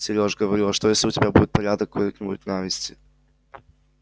сереж говорю а что если у тебя тут порядок какой-нибудь навести